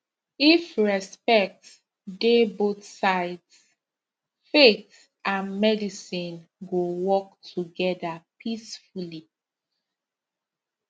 if respect dey both sides faith and medicine go work together peacefully